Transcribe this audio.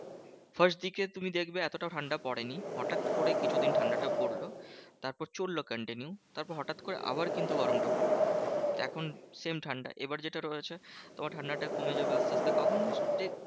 First দিকে তুমি দেখবে এতটা ঠান্ডা পড়েনি। হটাৎ করে কিছু দিন ঠান্ডাটা পড়লো। তারপর চললো continue. তারপর হটাৎ করে আবার কিন্তু গরমটা পড়লো। এখন same ঠান্ডা এবার যেটা রয়েছে। তোমার ঠান্ডাটা কমে যাবে আসতে আসতে কখন যে যে